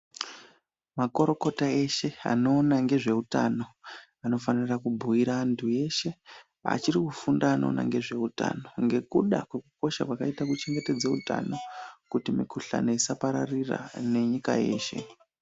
Makorokota eshe anoona ngezveutano anofanira kubhiira antu eshe achirikufunda anoona ngezveutano ngekuda kwekukosha kwakaita kuchengetedze utano kuti mikuhlani isapararira nenyika yeshe.